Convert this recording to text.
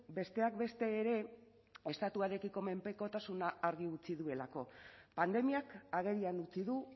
besteak beste ere estatuarekiko menpekotasuna argi utzi duelako pandemiak agerian utzi du